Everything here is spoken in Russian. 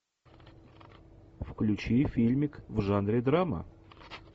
включи фильмик в жанре драма